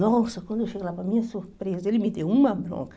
Nossa, quando eu cheguei lá, para minha surpresa, ele me deu uma bronca.